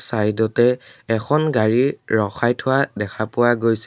Side তে এখন গাড়ী ৰখাই থোৱা দেখা পোৱা গৈছে।